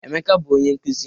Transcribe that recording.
Emeka bụ onye nkụzi.